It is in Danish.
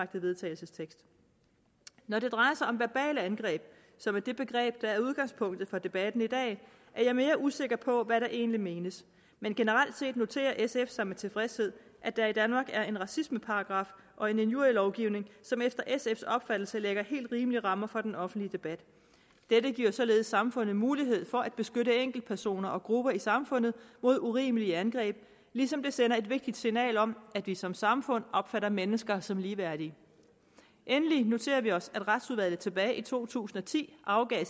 til vedtagelse når det drejer sig om verbale angreb som er det begreb der er udgangspunktet for debatten i dag er jeg mere usikker på hvad der egentlig menes men generelt set noterer sf sig med tilfredshed at der i danmark er en racismeparagraf og en injurielovgivning som efter sfs opfattelse lægger helt rimelige rammer for den offentlige debat dette giver således samfundet mulighed for at beskytte enkeltpersoner og grupper i samfundet mod urimelige angreb ligesom det sender et vigtigt signal om at vi som samfund opfatter mennesker som ligeværdige endelig noterer vi os at retsudvalget tilbage i to tusind og ti afgav